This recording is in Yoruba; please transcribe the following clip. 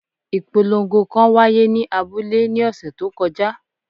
Ipolongo kan wa ye ni abule ni ọsẹ to koja